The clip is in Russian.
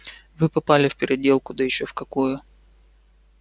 вы попали в переделку да ещё в какую